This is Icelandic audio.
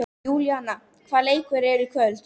Júlíana, hvaða leikir eru í kvöld?